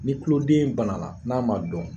Ni kuloden banala n'a ma dɔn